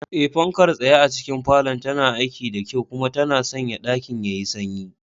Eh, fankar tsaye a cikin falon tana aiki da kyau kuma tana sanya ɗakin yayi sanyi.